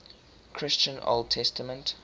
christian old testament